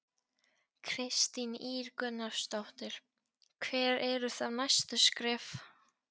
Kristín Ýr Gunnarsdóttir: Hver eru þá næstu skref?